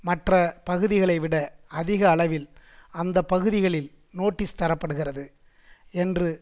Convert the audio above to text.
மற்ற பகுதிகளைவிட அதிக அளவில் அந்த பகுதிகளில் நோட்டீஸ் தர படுகிறது என்று